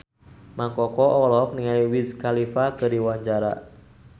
Mang Koko olohok ningali Wiz Khalifa keur diwawancara